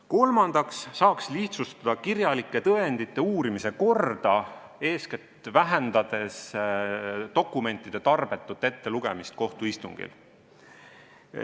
Kolmandaks saaks lihtsustada kirjalike tõendite uurimise korda, eeskätt vähendades dokumentide tarbetut ettelugemist kohtuistungil.